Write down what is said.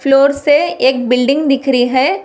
Floor से एक building दिख रही है।